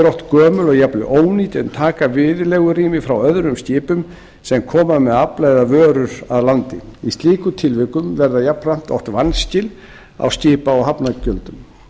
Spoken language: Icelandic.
oft gömul og jafnvel ónýt en taka viðlegurými frá öðrum skipum sem koma með afla eða vörur að landi í slíkum tilvikum verða jafnframt oft vanskil á skipa og hafnargjöldum